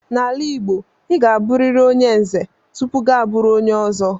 N'ala Igbo, ị ga-abụriri onye Nze tupu gị abụrụ onye Ọzọ.